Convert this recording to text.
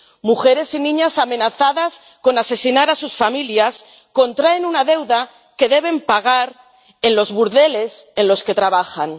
Mujeres y niñas amenazadas con asesinar a sus familias contraen una deuda que deben pagar en los burdeles en los que trabajan.